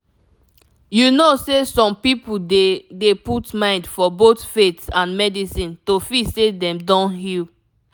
you know say some people dey dey put mind for both faith and medicine to feel say dem don heal